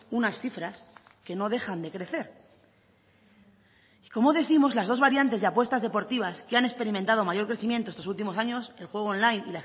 unas cifras que no dejan de crecer como décimos las dos variantes de apuestas deportivas que han experimentado mayor crecimiento estos últimos años el juego online